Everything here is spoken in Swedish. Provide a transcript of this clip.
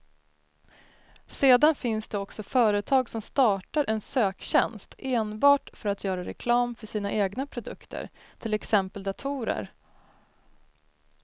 Sedan finns det också företag som startar en söktjänst enbart för att göra reklam för sina egna produkter, till exempel datorer.